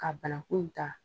Ka banakun ta.